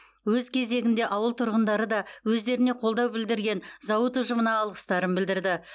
өз кезегінде ауыл тұрғындары да өздеріне қолдау білдірген зауыт ұжымына алғыстарын білдірді